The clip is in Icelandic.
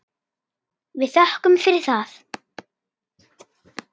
Við þökkum fyrir það.